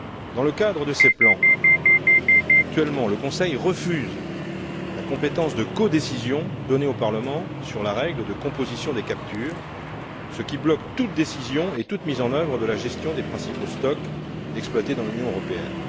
Dans le cadre de ces plans, actuellement, le Conseil refuse la compétence de codécision donnée au Parlement sur la règle de composition des captures, ce qui bloque toute décision et toute mise en œuvre de la gestion des principaux stocks exploités dans l'Union européenne.